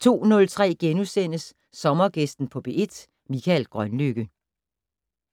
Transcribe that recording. * 02:03: Sommergæsten på P1: Mikael Grønlykke *